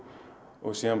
síðan